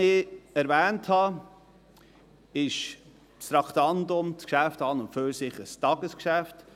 Wie ich erwähnt habe, ist das Traktandum, das Geschäft an und für sich ein Tagesgeschäft.